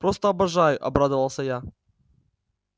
просто обожаю обрадовалась я